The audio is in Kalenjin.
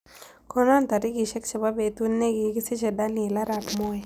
Konon tarigisiek chebo betut negigisiche Daniel arap moi